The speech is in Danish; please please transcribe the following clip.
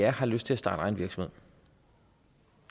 har lyst til at starte egen virksomhed